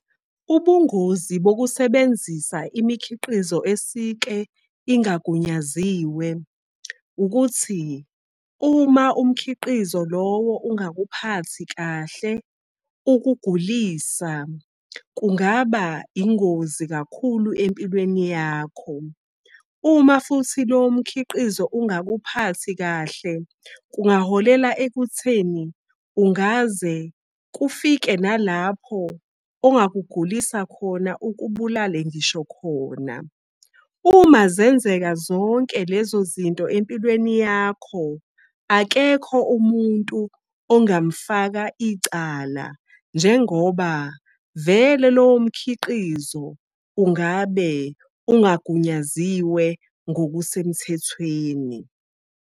Ubungozi bokusebenzisa imikhiqizo esike ingagunyaziwe ukuthi uma umkhiqizo lowo ungakuphathi kahle ukugulisa, kungaba ingozi kakhulu empilweni yakho. Uma futhi lowo mkhiqizo ungakuphathi kahle, kungaholela ekutheni ungaze kufike nalapho ongakugulisa khona ukubulale ngisho khona. Uma zenzeka zonke lezo zinto empilweni yakho, akekho umuntu ongamfaka icala njengoba vele lowo mkhiqizo ungabe ungagunyaziwe ngokusemthethweni.